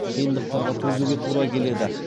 қиындықтарға төзуге тура келеді